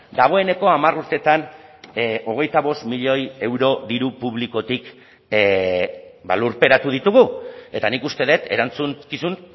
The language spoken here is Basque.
dagoeneko hamar urteetan hogeita bost milioi euro diru publikotik lurperatu ditugu eta nik uste dut erantzunkizun